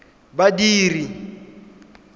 badiri